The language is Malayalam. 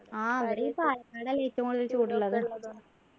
ആഹ് ഈട ഈ പാലക്കാട് അല്ലെ ഏറ്റവും കൂടുതൽ ചൂട് ഉള്ളത്